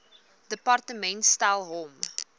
departement stel hom